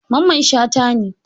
Mamman shata ne.